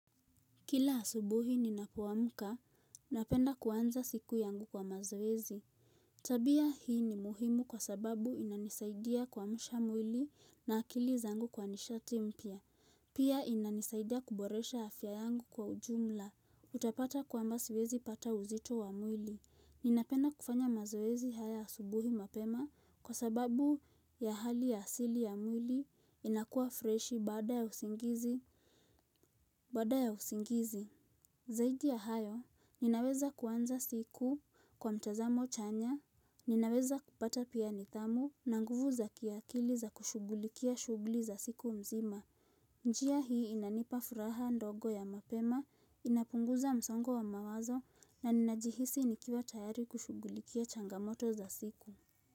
Kila asubuhi ninapo amka, napenda kuanza siku yangu kwa mazoezi. Tabia hii ni muhimu kwa sababu inanisaidia kuamsha mwili na akili zangu kwa nishati mpya. Pia inanisaidia kuboresha afya yangu kwa ujumla. Utapata kwamba siwezi pata uzito wa mwili. Ninapenda kufanya mazoezi haya asubuhi mapema kwa sababu ya hali ya asili ya mwili inakuwa freshi baada ya usingizi. Bada ya usingizi. Zaidi ya hayo, ninaweza kuanza siku kwa mtazamo chanya, ninaweza kupata pia nidhamu na nguvu za kiakili za kushughulikia shughuli za siku mzima. Njia hii inanipa furaha ndogo ya mapema, inapunguza msongo wa mawazo na ninajihisi nikiwa tayari kushughulikia changamoto za siku.